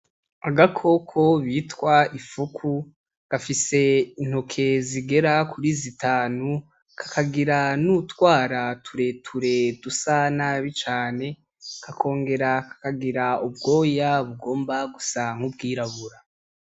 Agakoko bitwa imfuku, gafise intoke zigera kuri zitanu, kakagira n'utwara turere dusa nabi cane, kakongera kakagira ubwoya bugomba gusa n'ubwirabura.